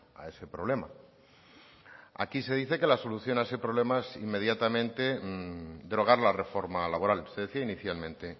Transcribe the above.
a ese problema aquí se dice que la solución a ese problema es inmediatamente derogar la reforma laboral se decía inicialmente